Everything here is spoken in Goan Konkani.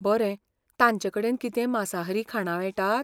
बरें, तांचेकडेन कितेंय मांसाहारी खाणां मेळटात?